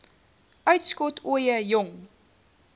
uitskot ooie jong